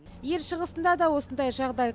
ел шығысында да осындай жағдай